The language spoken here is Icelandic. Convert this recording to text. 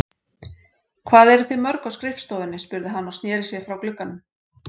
Hvað eruð þið mörg á skrifstofunni? spurði hann og sneri sér frá glugganum.